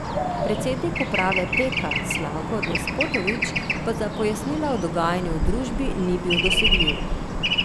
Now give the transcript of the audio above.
Predsednik uprave Peka Slavko Despotovič pa za pojasnila o dogajanju v družbi ni bil dosegljiv.